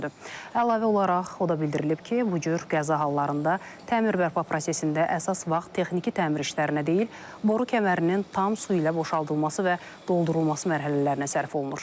Əlavə olaraq o da bildirilib ki, bu cür qəza hallarında təmir-bərpa prosesində əsas vaxt texniki təmir işlərinə deyil, boru kəmərinin tam su ilə boşaldılması və doldurulması mərhələlərinə sərf olunur.